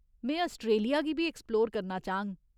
में आस्ट्रेलिया गी बी ऐक्सप्लोर करना चाह्ङ।